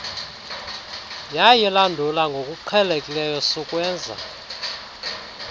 yayilandula ngokuqhelekileyo sukwenza